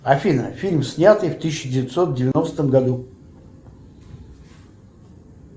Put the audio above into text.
афина фильм снятый в тысяча девятьсот девяностом году